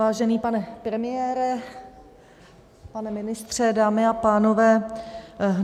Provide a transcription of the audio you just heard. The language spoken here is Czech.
Vážený pane premiére, pane ministře, dámy a pánové.